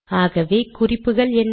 ஆகவே குறிப்புகள் என்ன